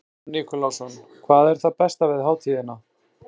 Ívan Nikulásson: Hvað er það besta við hátíðina?